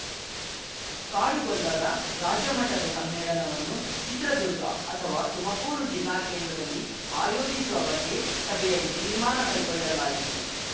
ಕಾಡುಗೊಲ್ಲರ ರಾಜ್ಯ ಮಟ್ಟದ ಸಮ್ಮೇಳನವನ್ನು ಚಿತ್ರದುರ್ಗ ಅಥವಾ ತುಮಕೂರು ಜಿಲ್ಲಾ ಕೇಂದ್ರದಲ್ಲಿ ಆಯೋಜಿಸುವ ಬಗ್ಗೆ ಸಭೆಯಲ್ಲಿ ತೀರ್ಮಾನ ಕೈಗೊಳ್ಳಲಾಯಿತು